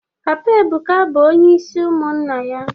Papa Ebuka bụ onye isi ụmụnna ya